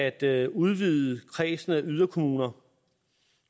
at udvide kredsen af yderkommuner